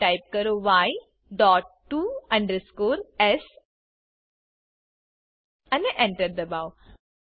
હવે ટાઇપ કરો ય ડોટ ટીઓ અંડરસ્કોર એસ અને Enter દબાઓ